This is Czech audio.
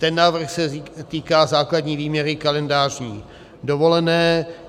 Ten návrh se týká základní výměry kalendářní dovolené.